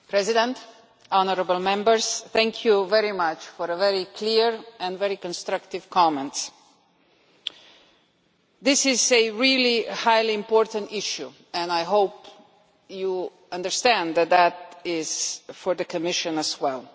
Mr President, honourable Members, I thank you very much for your very clear and very constructive comments. This is a really highly important issue and I hope you understand that it is important for the Commission as well.